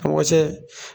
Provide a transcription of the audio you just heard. Mɔgɔ cɛ